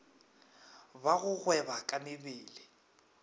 ba go gweba ka mebele